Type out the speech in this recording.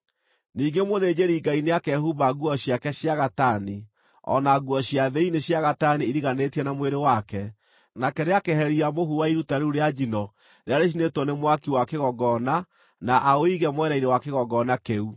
Ningĩ mũthĩnjĩri-Ngai nĩakehumba nguo ciake cia gatani, o na nguo cia thĩinĩ cia gatani iriganĩtie na mwĩrĩ wake; nake nĩakeheria mũhu wa iruta rĩu rĩa njino rĩrĩa rĩcinĩtwo nĩ mwaki wa kĩgongona na aũige mwena-inĩ wa kĩgongona kĩu.